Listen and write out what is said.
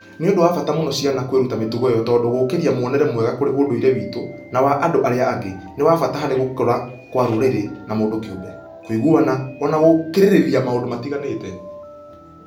Nĩ ũndũ wa bata mũno ciana kwĩruta mĩtugo ĩyo tondũ gũkũria mwonere mwega kũrĩ ũndũire witũ na wa andũ arĩa angĩ nĩ kwa bata harĩ gũkũra kwa rũrĩrĩ na mũndũ kĩumbe, kũiguana, na o na gũkirĩrĩria maũndũ matiganĩte.